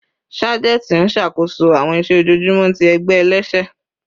Sajenti n ṣakoso awọn iṣẹ ojoojumọ ti ẹgbẹ ẹlẹsẹ